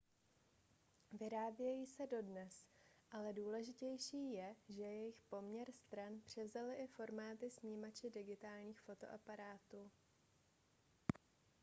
vyrábějí se dodnes ale důležitější je že jejich poměr stran převzaly i formáty snímače digitálních fotoaparátů